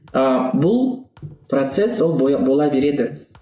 ы бұл процесс ол бола береді